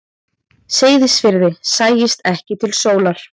Seyðisfirði sæist ekki til sólar.